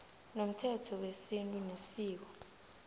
nomthetho wesintu nesiko